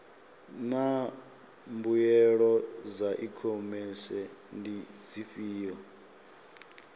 naa mbuelo dza ikhomese ndi dzifhio